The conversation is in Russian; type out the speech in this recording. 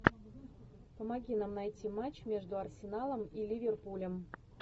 помоги нам найти матч между арсеналом и ливерпулем